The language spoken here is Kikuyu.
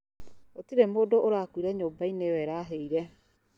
Gũtirĩ mũndũ ũrakuire nyũmba-inĩ ĩyo ĩrahĩire